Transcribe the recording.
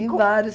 Em vários.